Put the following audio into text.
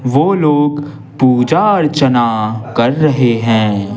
वो लोग पूजा अर्चना कर रहे हैं।